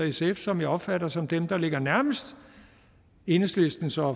sf som jeg opfatter som dem der ligger nærmest enhedslistens og